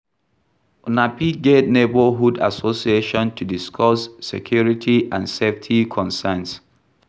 Una fit get neighbourhood assosiation to discuss security and safety concerns